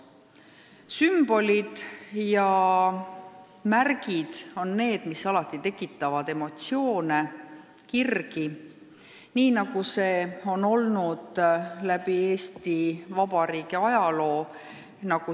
Sümbolid ja märgid tekitavad alati emotsioone ja kirgi, nii nagu see on olnud läbi Eesti Vabariigi ajaloo.